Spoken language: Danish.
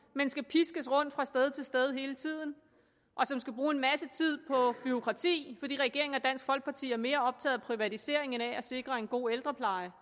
men skal piskes rundt fra sted til sted hele tiden og som skal bruge en masse tid på bureaukrati fordi regeringen og dansk folkeparti er mere optaget af privatisering end af at sikre en god ældrepleje